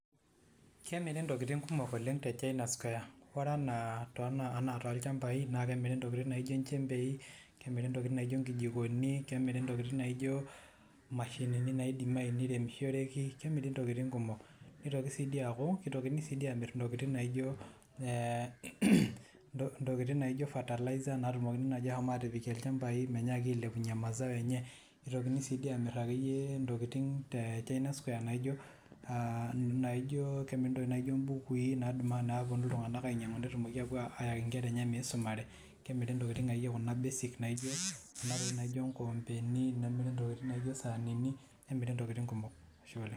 kemiri ntokitin kumok oleng te china square, ore ana tolchampai naa kemiri ntokitin naijo ilchempei, kemiri ntokitin kumok naijo nkidikoni, kemiri ntokitin naijo imashinini naidimayu neiremishoreki. kemiri ntokitin kumok. nitoki sii dii aku kitokini dii amir intokitin naijo e ntokitin naijo fertilizer natumokini naji ashom atipik ilchampai menyaki ailepunye mazao enye, nitokini sii dii aamir akeyie ntokitin te china square naijo aa naijo kemiri ntokitin naijo mbukui napuonu iltunganak ainyiang'u neyaki nkera eneye pee epuo aisumare, kemiri ntokitin akeyie kuna basic naijo nkoompeni, nemiri ntokitin naijo saanini. kemiri ntokitin akeyie kumok.